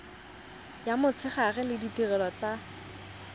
ya motshegare le ditirelo tsa